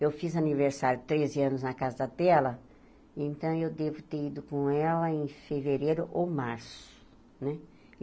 Eu fiz aniversário treze anos na Casa dela, então eu devo ter ido com ela em fevereiro ou março, né?